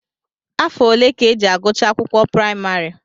Afọ ole ka e ji agụcha akwụkwọ praịmarị?